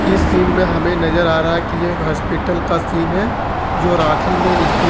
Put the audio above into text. इस सीन में हमें नजर आ रहा है कि एक अस्पताल का सीन है जो रांची में स्थित--